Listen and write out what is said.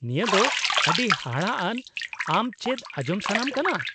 -ᱱᱤᱭᱟᱹ ᱫᱚ ᱟᱹᱰᱤ ᱦᱟᱦᱟᱲᱟᱜ ᱟᱱ , ᱟᱢ ᱪᱮᱫ ᱟᱸᱡᱚᱢ ᱥᱟᱱᱟᱢ ᱠᱟᱱᱟ ?